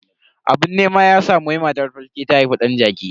Abun nema ya samu wai matar falke ta haifi dan jaki.